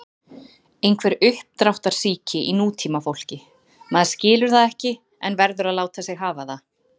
Einhver uppdráttarsýki í nútímafólki, maður skilur það ekki en verður að láta sig hafa það.